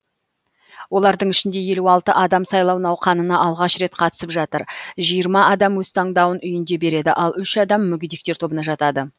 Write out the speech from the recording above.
олардың ішінде елу алты адам сайлау науқанына алғаш рет қатысып жатыр жиырма адам өз таңдауын үйінде береді ал үш адам мүгедектер тобына жатады